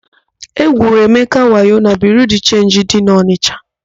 E gwuru Emeka wayo na Biriu de Chenji dị n'Ọnisha.